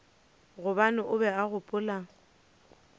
gobane o be a gopola